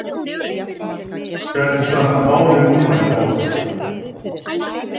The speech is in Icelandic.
Hvernig standa málin núna hér hjá okkur?